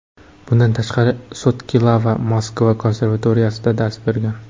Bundan tashqari, Sotkilava Moskva konservatoriyasida dars bergan.